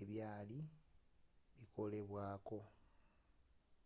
ebyali bikolebwako